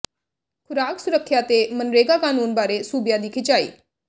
ਖ਼ੁਰਾਕ ਸੁਰੱਖਿਆ ਤੇ ਮਨਰੇਗਾ ਕਾਨੂੰਨ ਬਾਰੇ ਸੂਬਿਆਂ ਦੀ ਖਿਚਾਈ